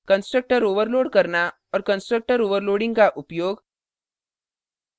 constructor overload करना और constructor overloading का उपयोग